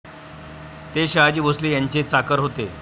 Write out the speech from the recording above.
ते शहाजी भोसले यांचे चाकर होते.